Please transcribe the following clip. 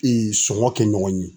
sɔngɔ kɛ ɲɔgɔn ye.